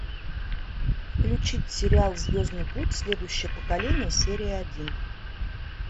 включить сериал звездный путь следующее поколение серия один